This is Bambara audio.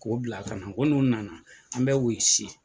K'o bila kana, nko nu nana an bɛ o y'i si.